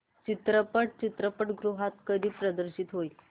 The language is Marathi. चित्रपट चित्रपटगृहात कधी प्रदर्शित होईल